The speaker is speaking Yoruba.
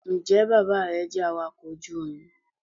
njẹ bàbá re jẹ awakọ ojú omí?